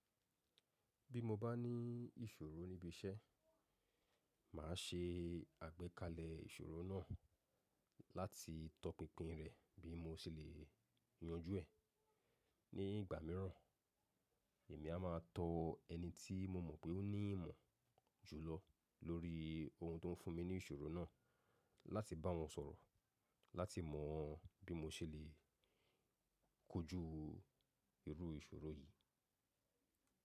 Bí mo bá ní ìṣòro níbi iṣẹ́, màá ṣe àgbékalẹ̀ ìṣòro náà láti tọpinpin rẹ̀ bí mo ṣe lè yanjú ẹ̀. Ní ìgbà míràn, èmi a máa tọ ẹni tí mo mọ̀ pé ó ní ìmọ̀ jùlọ lórí ohun tó ń fún mi ní ìṣòro náà láti bá wọn sọ̀rọ̀ láti mọ bí mo ṣe lè kojú irú ìṣòro yìí.